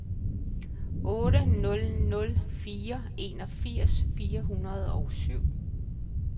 otte nul nul fire enogfirs fire hundrede og syv